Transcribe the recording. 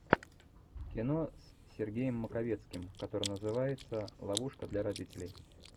кино с сергеем маковецким который называется ловушка для родителей